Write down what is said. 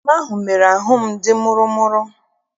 Oroma ahụ mere ahụ m dị mụrụ mụrụ.